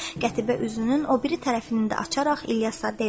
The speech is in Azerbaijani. Qətibə üzünün o biri tərəfini də açaraq İlyasa dedi: